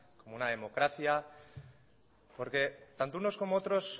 como una democracia porque tanto unos como otros